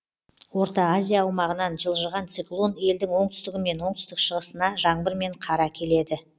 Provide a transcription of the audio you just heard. орта азия аумағынан жылжыған циклон елдің оңтүстігі мен оңтүстік шығысына жаңбыр мен қар әкеледі